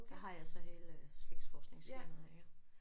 Der har jeg så hele slægtsforskningsskemaet iggå